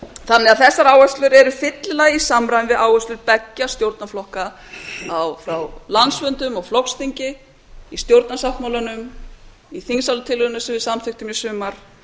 þannig að þessar áherslur eru fyllilega í samræmi við áherslur beggja stjórnarflokka frá landsfundum og flokksþingi í stjórnarsáttmálanum og þingsályktunartillögunni sem við samþykktum í sumar